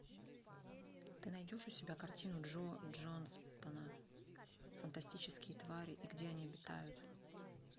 ты найдешь у себя картину джо джонстона фантастические твари и где они обитают